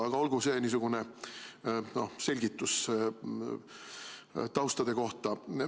Aga olgu see niisugune selgitus tausta kohta.